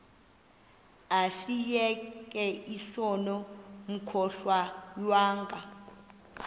asiyeke sono smgohlwaywanga